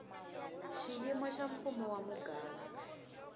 xiyimo xa mfumo wa muganga